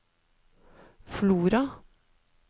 Flora